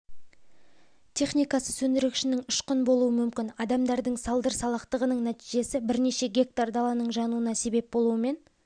техникасы сөндіргішінің ұшқыны болуы мүмкін адамдардың салдыр салақтығының нәтижесі бірнеше гектар даланың жануына себеп болуымен